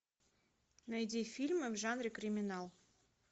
найди фильмы в жанре криминал